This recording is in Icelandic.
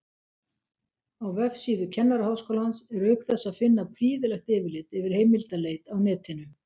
Á vefsíðu Kennaraháskólans er auk þess að finna prýðilegt yfirlit yfir heimildaleit á netinu.